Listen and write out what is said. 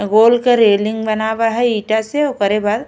गोल के रेलिंग बनावा हई इटा से ओकरे बाद --